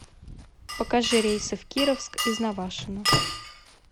покажи рейсы в кировск из навашино